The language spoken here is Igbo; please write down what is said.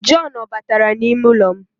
John o batara n'ime ụlọ m?